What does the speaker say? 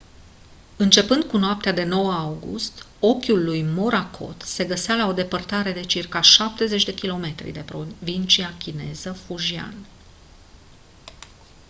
începând cu noaptea de 9 august ochiul lui morakot se găsea la o depărtare de circa șaptezeci de kilometri de provincia chineză fujian